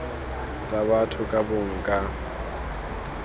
tsa batho ka bongwe ka